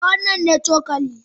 Eh, wannan ne cokali.